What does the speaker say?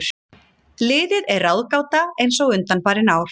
Liðið er ráðgáta eins og undanfarin ár.